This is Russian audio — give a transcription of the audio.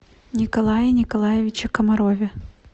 николае николаевиче комарове